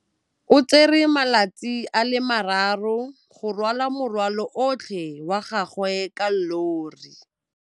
O tsere malatsi a le marraro go rwala morwalo otlhe wa gagwe ka llori.